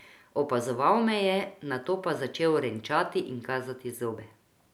Opazoval me je, nato pa začel renčati in kazati zobe.